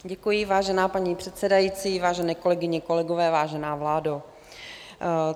Děkuji, vážená paní předsedající, vážené kolegyně, kolegové, vážená vládo.